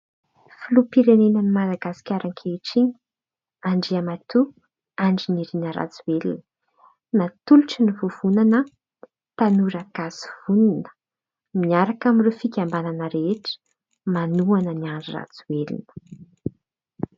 Filoham-pirenena an'i Madagasikara ankehitriny andriamatoa Andrinirina Rajoelina. Natolotry ny vovonana Tanora Gasy Vonona miaraka amin'ireo fikambanana rehetra manohana an'i Andry Rajoelina.